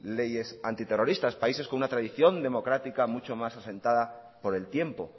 leyes antiterroristas países con una tradición democrática mucho más asentada por el tiempo